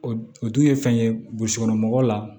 O o dun ye fɛn ye burusi kɔnɔ mɔgɔw la